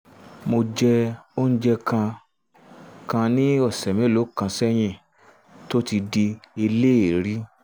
mo jẹ oúnjẹ um kan kan ní ọ̀sẹ̀ mélòó kan um sẹ́yìn tó um ti di eléèérí